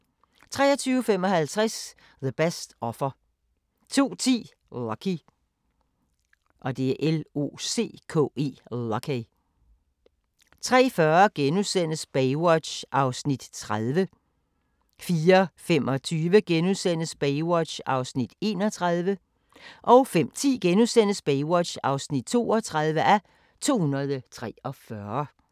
23:55: The Best Offer 02:10: Locke 03:40: Baywatch (30:243)* 04:25: Baywatch (31:243)* 05:10: Baywatch (32:243)*